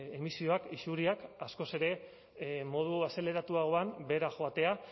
emisioak isuriak askoz ere modu azeleratuagoan behera joatea